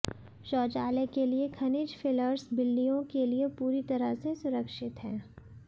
शौचालय के लिए खनिज फिलर्स बिल्लियों के लिए पूरी तरह से सुरक्षित हैं